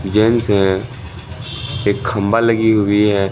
Gents हैं एक खंभा लगी हुई है।